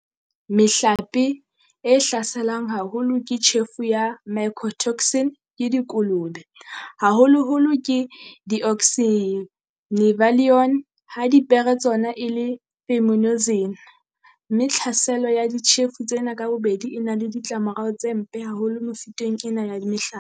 Mehlape e hlaselwang haholo ke tjhefo ya mycotoxin ke dikolobe haholoholo ke deoxynivalenol ha dipere tsona e le fumonisin, mme tlhaselo ya ditjhefo tsena ka bobedi e na le ditlamorao tse mpe haholo mefuteng ena ya mehlape.